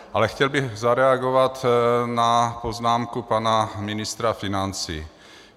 Ale chtěl bych zareagovat na poznámku pana ministra financí.